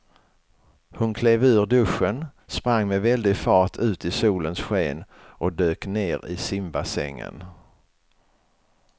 Hon klev ur duschen, sprang med väldig fart ut i solens sken och dök ner i simbassängen.